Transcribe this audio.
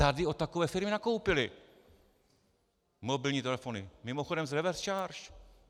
Tady od takové firmy nakoupili mobilní telefony, mimochodem s reverse charge.